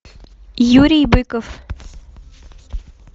юрий быков